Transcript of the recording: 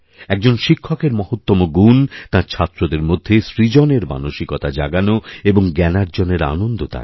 একজন শিক্ষকেরমহত্ত্বম গুণ তাঁর ছাত্রদের মধ্যে সৃজনের মানসিকতা জাগানো এবং জ্ঞানার্জনের আনন্দদান